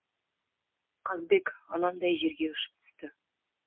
қазбек анандай жерге ұшып түсті